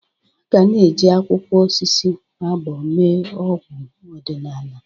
Aga na-eji akwụkwọ osisi agbọ́ mee ọgwụ ọdịnala.